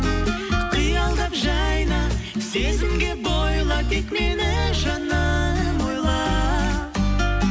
қиялдап жайна сезімге бойла тек мені жаным ойла